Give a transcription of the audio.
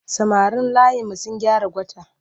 Samarin layinmu sun gyara kwata.